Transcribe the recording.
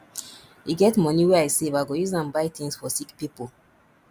e get moni wey i save i go use am buy tins for sick pipo